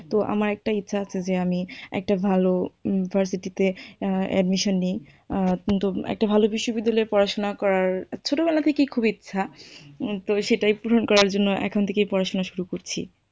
তো আমার একটা ইচ্ছা আছে যে আমি একটা ভালো university তে admission নিই। কিন্তু একটা ভালো বিশ্ববিদ্যালয়ে পড়াশুনা করার ছোটো বেলা থেকেই খুব ইচ্ছা, তো সেটাই পূরণ করার জন্য এখন থেকেই পড়াশুনা করছি।